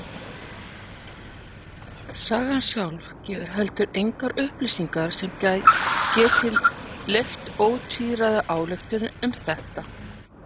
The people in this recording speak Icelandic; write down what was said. Sagan sjálf gefur heldur engar upplýsingar sem geti leyft ótvíræða ályktun um þetta.